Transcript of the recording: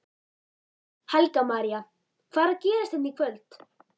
Helga María: Hvað er að gerast hérna í kvöld?